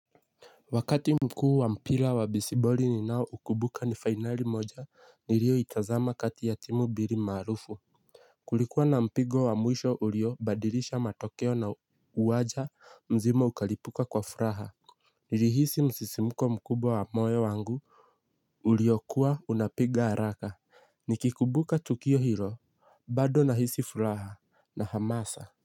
Wakati mkuu wa mpira wa besiboli ninao ukubuka ni finali moja nilioitazama kati ya timu bili marufu. Kulikuwa na mpigo wa mwisho uliobadirisha matokeo na uwaja mzima ukalipuka kwa furaha. Nilihisi msisimuko mkubwa wa moyo wangu. Uliokua unapiga haraka nikikubuka tukio hilo bado nahisi furaha na hamasa.